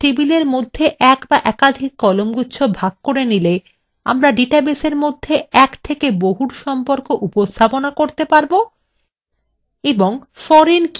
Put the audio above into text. সুতরাং কয়েকটি টেবিলের মধ্যে একটি so একাধিক কলামগুচ্ছ ভাগ করে নিলে আমরা ডাটাবেসের মধ্যে এক থেকে বহুর সম্পর্ক উপস্থাপনা করতে পারব